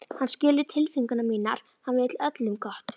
Hann skilur tilfinningar mínar, hann vill öllum gott.